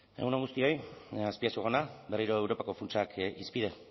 egun on guztioi azpiazu jauna berriro europako funtsak hizpide